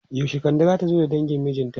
Yaushe Kande zata zo da dangin mijinta?